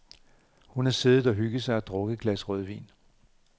Hun har siddet og hygget sig og drukket et glas rødvin.